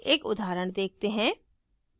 एक उदाहरण देखते हैं